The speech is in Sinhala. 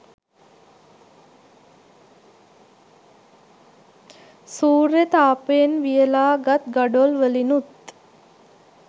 සූර්ය තාපයෙන් වියලා ගත් ගඩොල් වලිනුත්